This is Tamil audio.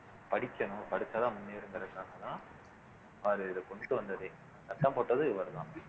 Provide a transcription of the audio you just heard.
படிக்கணும் படிச்சாதான் முன்னேற அவரு இத கொண்டுட்டு வந்ததே சட்டம் போட்டதும் இவருதான்